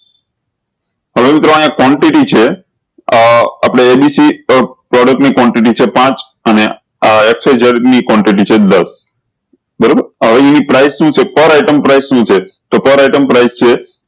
હવે મિત્રો આ quantity છે આ આપળે એ બી સી quantity ની abc છે પાંચ અને આ ક્ષ વાય ઝેડ ની xyz બરોબર હવે એની quantity શું છે per item price શું છે તો per item price છે